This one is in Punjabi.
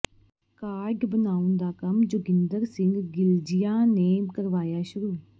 ਕਾਰਡ ਬਣਾਉਣ ਦਾ ਕੰਮ ਜੋਗਿੰਦਰ ਸਿੰਘ ਗਿਲਜੀਆਂ ਨੇ ਕਰਵਾਇਆ ਸ਼ੁਰੂ